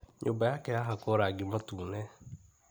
nyũmba yake yahakwo rangi mũtune.